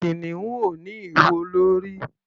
Kìnìún ò ní ìwo lórí.